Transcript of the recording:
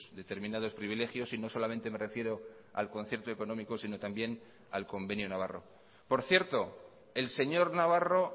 determinados privilegios y no solamente me refiero al concierto económico sino también al convenio navarro por cierto el señor navarro